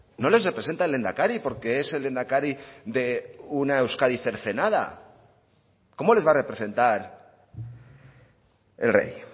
no les representa el lehendakari porque es el lehendakari de una euskadi cercenada cómo les va a representar el rey